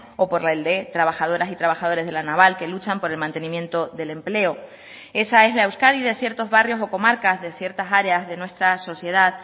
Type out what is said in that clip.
o por el de trabajadoras y trabajadores de la naval que luchan por el mantenimiento del empleo esa es la euskadi de ciertos barrios o comarcas de ciertas áreas de nuestra sociedad